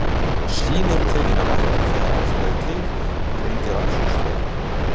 Sýni eru tekin af vatninu þegar ástæða er til og greind í rannsóknarstofu.